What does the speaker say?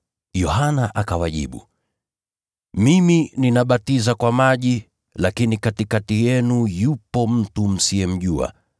Yohana akawajibu, “Mimi ninabatiza kwa maji, lakini katikati yenu yupo mtu msiyemjua.